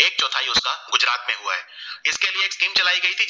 जिनकी एक scheme चली गयी थी